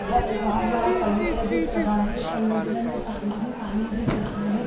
यह एक बहोत बड़ा समुद्र दिख रहा है समुद्र में पानी -ही -पानी दिख रहा है।